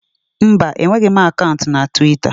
Mba, enweghị m akant na tiwita.